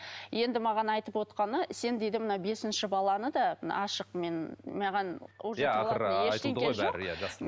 енді маған айтып отқаны сен дейді мына бесінші баланы да мына ашық мен маған